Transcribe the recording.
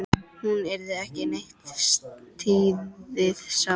Hún yrði ekki neitt lítið sár.